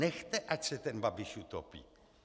Nechte, ať se ten Babiš utopí.